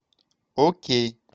окей